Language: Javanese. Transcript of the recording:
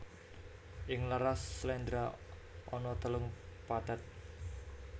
Ing laras sléndra ana telung pathet